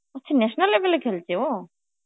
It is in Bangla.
আচ্ছা national level এ খেলছে ও?